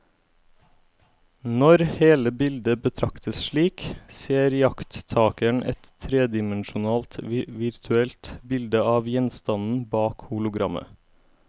Når hele bildet betraktes slik, ser iakttakeren et tredimensjonalt virtuelt bilde av gjenstanden bak hologrammet.